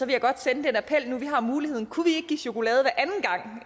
jeg godt sende den appel nu jeg har muligheden kunne vi ikke give chokolade